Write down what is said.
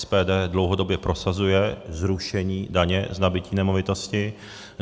SPD dlouhodobě prosazuje zrušení daně z nabytí nemovitosti.